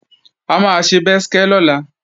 A máa ṣe bẹ́skẹ́ lọ́la